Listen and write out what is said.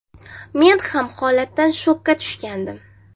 Men ham holatdan shokka tushgandim.